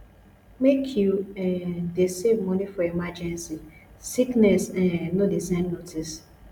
make you um dey save money for emergency sickness um no dey send notice